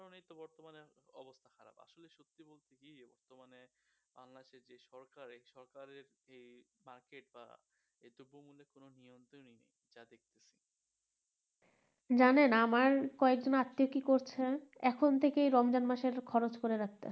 জানেন আমার কয়েক জন আত্মীয় কি করছেন এখন থেকে রমজান মাসের খরচ করে রাখতেছে